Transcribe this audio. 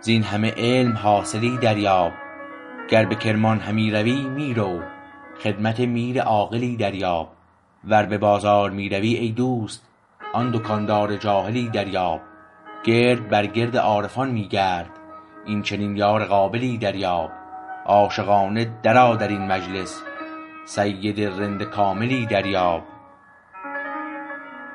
زین همه علم حاصلی دریاب گر به کرمان همی روی می رو خدمت میر عاقلی دریاب ور به بازار می روی ای دوست آن دکاندار جاهلی دریاب گرد بر گرد عارفان می گرد این چنین یار قابلی دریاب عاشقانه درآ درین مجلس سید رند کاملی دریاب